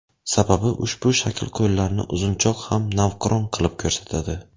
Sababi ushbu shakl qo‘llarni uzunchoq ham navqiron qilib ko‘rsatadi.